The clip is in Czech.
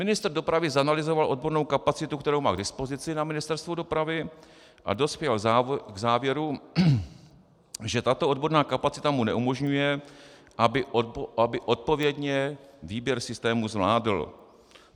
Ministr dopravy zanalyzoval odbornou kapacitu, kterou má k dispozici na Ministerstvu dopravy, a dospěl k závěru, že tato odborná kapacita mu neumožňuje, aby odpovědně výběr systému zvládl.